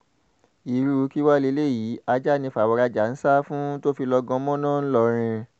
irú kí wàá lélẹ́yìí ajá ni fàwọ̀rajà ń sá fún tó fi lọ́ọ́ gan mọ̀nà ńlọrọrìn